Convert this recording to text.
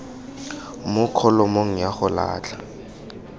mo kholomong ya go latlha